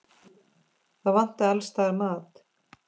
Það vantaði alls staðar mat.